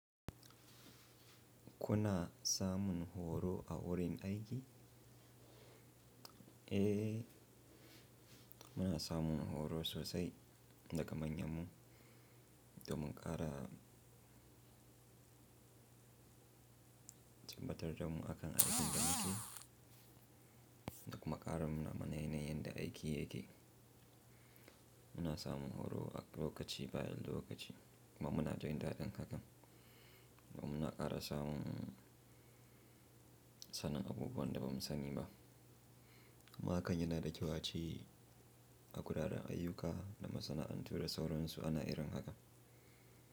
Ku na samun horo a wurin aiki? Eh, muna samun horo sosai daga manyanmu domin ƙara tabbatar da mu akan aikin da muke da kuma ƙarin nuna mana yanayin da aiki yake. Muna samun horo a lokaci bayan lokaci kuma muna jin daɗin haka kuma muna ƙara samun sanin abubuwan da ba mu sani ba. Kuma hakan yana da ace a a guraren ayyuka da masana'antu da sauransu ana irin haka.